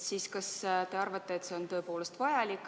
Kas te arvate, et see on tõepoolest vajalik?